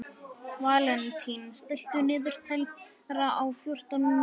Valentín, stilltu niðurteljara á fjórtán mínútur.